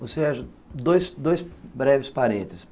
Você... dois breves parênteses.